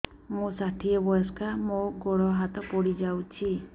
ମୁଁ ଷାଠିଏ ବୟସ୍କା ମୋର ଗୋଡ ହାତ ପଡିଯାଇଛି